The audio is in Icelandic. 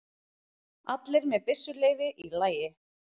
Allir með byssuleyfi í lagi